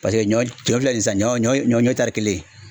Paseke ɲɔ cɔ filɛ nin ye sisan ɲɔ ɲɔ ɲɔ ɲɔ tari kelen